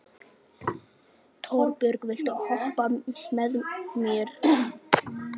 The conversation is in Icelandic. Torbjörg, viltu hoppa með mér?